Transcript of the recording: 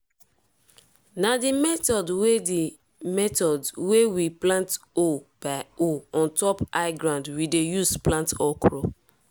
na under shade we dey store cassava and di face dey face up so e no go lose water before dem plant dem.